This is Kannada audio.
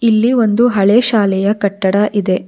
ಇಲ್ಲಿ ಒಂದು ಹಳೇ ಶಾಲೆಯ ಕಟ್ಟಡವಿದೆ